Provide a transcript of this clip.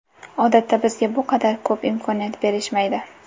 Odatda bizga bu qadar ko‘p imkoniyat berishmaydi”.